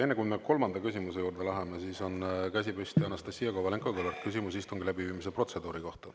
Enne kui me kolmanda küsimuse juurde läheme, on käsi püsti Anastassia Kovalenko-Kõlvartil, küsimus istungi läbiviimise protseduuri kohta.